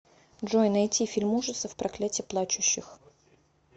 джой найти фильм ужасов проклятие плачущих